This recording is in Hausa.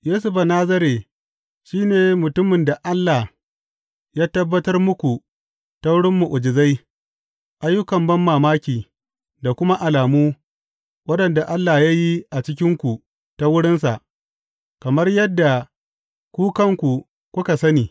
Yesu Banazare shi ne mutumin da Allah ya tabbatar muku ta wurin mu’ujizai, ayyukan banmamaki, da kuma alamu, waɗanda Allah ya yi a cikinku ta wurinsa, kamar yadda ku kanku kuka sani.